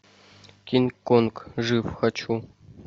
кинг конг жив хочу